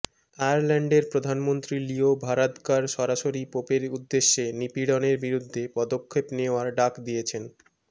আয়ারল্যান্ডের প্রধানমন্ত্রী Leo Varadkar সরাসরি পোপের উদ্দেশ্যে নিপীড়নের বিরুদ্ধে পদক্ষেপ নেয়ার ডাক দিয়েছেন